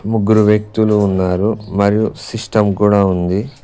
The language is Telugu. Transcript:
ముగ్గురు వ్యక్తులు ఉన్నారు మరియు సిస్టం కూడా ఉంది.